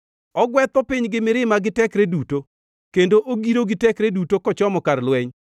Ogwetho piny gi mirima gi tekre duto, kendo ogiro gi tekre duto kochomo kar lweny.